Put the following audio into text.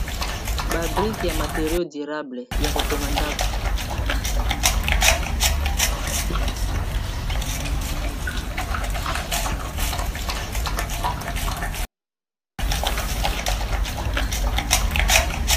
Ba brike ya materio durable ya kotonga ndako.